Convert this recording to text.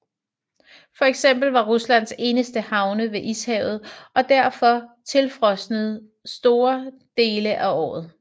For eksempel var Ruslands eneste havne ved Ishavet og derfor tilfrosne store dele af året